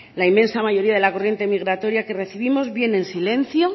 la inmensa mayoría de la corriente migratoria que recibimos viene en silencio